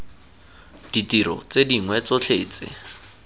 ditiro tse dingwe tsotlhe tse